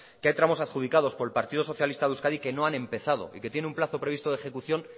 que hay tramos adjudicados por el partido socialista de euskadi que no han empezado y que tiene un plazo previsto de ejecución